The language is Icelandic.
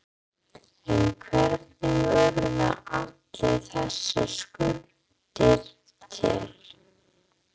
En hvernig urðu allar þessar skuldir til?